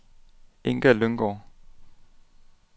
Inga Lynggaard